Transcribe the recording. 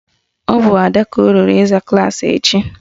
Ọ bụ Ada ka o ruru ịza klaasị echi